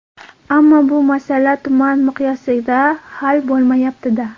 Ammo bu masala tuman miqyosida hal bo‘lmayapti-da.